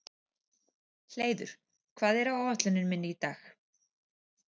Hleiður, hvað er á áætluninni minni í dag?